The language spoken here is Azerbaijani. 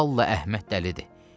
vallah Əhməd dəlidir.